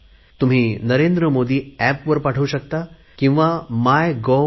तुम्ही नरेंद्र मोदी एप वर पाठवू शकता किंवा mygov